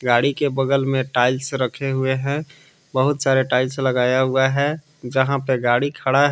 गाड़ी के बगल में टाइल्स रखे हुए है बहुत सारे टाइल्स लगाया हुआ है यहां पे गाड़ी खड़ा है।